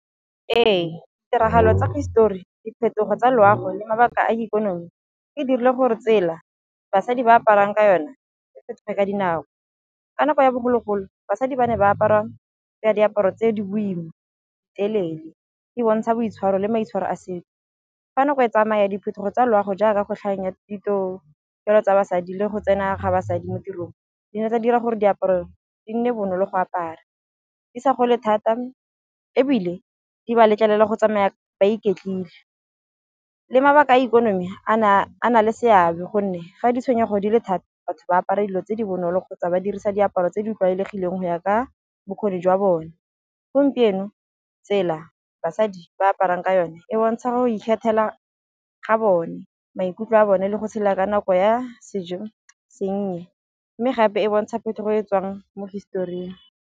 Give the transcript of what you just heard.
Ee tiragalo tsa hisetori, diphetogo tsa loago le mabaka a ikonomi e dirile gore tsela basadi ba aparang ka yone e fetoge ka dinako. Ka nako ya bogologolo basadi ba ne ba apara ya diaparo tse di boima, telele e bontsha boitshwaro le maitshwaro a setso, fa nako e tsamaya diphetogo tsa loago jaaka go tlhang ya ditokelo tsa basadi le go tsena ga basadi mo tirong di na tsa dira gore diaparo di nne bonolo go apara, di sa gole thata ebile di ba letlelela go tsamaya ba iketlile. Le mabaka a ikonomi a na le seabe gonne ga di tshwenyego di le thata batho ba apara dilo tse di bonolo kgotsa ba dirisa diaparo tse di tlwaelegileng go ya ka bokgoni jwa bone, gompieno tsela basadi ba aparang ka yone e bontsha go ikgethela ga bone, maikutlo a bone le go tshela ka nako ya sennye mme gape e bontsha phetogo e tswang mo hisetoring.